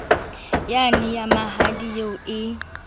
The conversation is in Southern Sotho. yane ya mahadi eo e